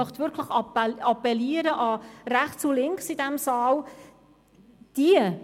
Ich möchte an Rechts und Links in diesem Saal appellieren.